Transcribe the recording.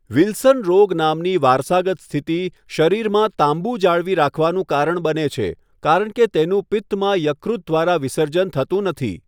Wilson રોગ નામની વારસાગત સ્થિતિ શરીરમાં તાંબુ જાળવી રાખવાનું કારણ બને છે, કારણ કે તેનું પિત્તમાં યકૃત દ્વારા વિસર્જન થતું નથી.